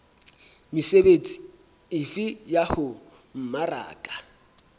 mesebetsi efe ya ho mmaraka